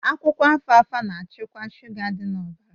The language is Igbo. Akwụkwọ Alfalfa na-achịkwa shuga dị na ọbara